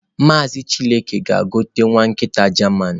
Maazị chilke gaa gote nwa Nkita german.